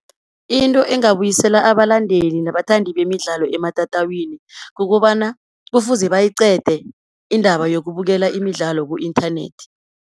Into engabuyisela abalandeli nabathandi bemidlalo ematatawini, kukobana kufuze bayiqede indaba yokubukela imidlalo ku-inthanethi.